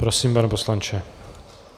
Prosím, pane poslanče.